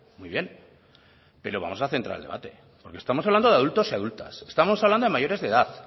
muy bien pero vamos a centrar el debate porque estamos hablando de adultos y adultas estamos hablando de mayores de edad